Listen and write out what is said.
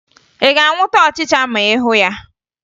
Ị ga-anwụta ọchịcha ma ị hụ ya?